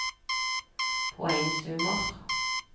poengsummer